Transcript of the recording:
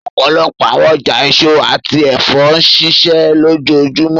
Ọpọlọpọ awọn ọja eso ati ẹfọ nṣiṣẹ lojoojumọ,